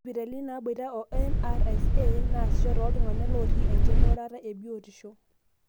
isipitalini naboita o MRSA nasisho toltungna looti engurata ebiotisho,